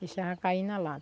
Deixava cair na